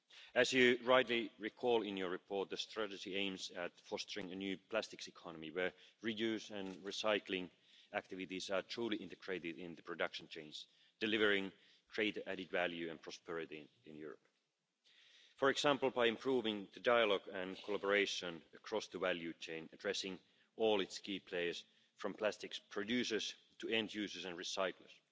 As you rightly recall in your report, the strategy aims at fostering a new plastics economy where reuse and recycling activities are truly integrated in the production chains, delivering great added value and prosperity in Europe, for example by improving the dialogue and cooperation across the value chain, addressing all its key players from plastics producers to end users and recyclers.